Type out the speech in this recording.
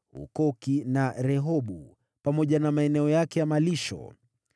Hukoki na Rehobu, pamoja na maeneo yake ya malisho.